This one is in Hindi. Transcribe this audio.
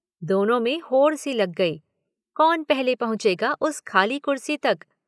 दोनों मे होड़ सी लग गई, कौन पहले पहुँचेगा उस खाली कुर्सी तक।